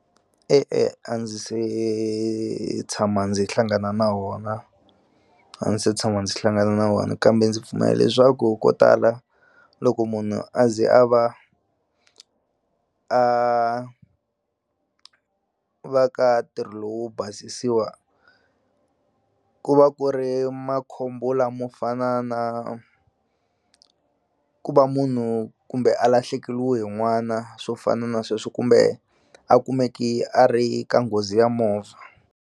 E-e a ndzi se tshama ndzi hlangana na wona a ndzi se tshama ndzi hlangana na wona kambe ndzi pfumela leswaku ko tala loko munhu a ze a va a ku va ka ntirho lowu basisiwa ku va ku ri makhombo lamo fana na ku va munhu kumbe a lahlekeliwe n'wana swo fana na sweswo kumbe a kumeke a ri ka nghozi ya movha.